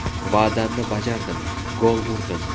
Va’damni bajardim, gol urdim.